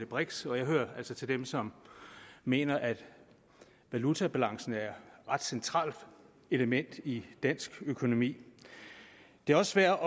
brix og jeg hører altså til dem som mener at valutabalancen er et ret centralt element i dansk økonomi det er også værd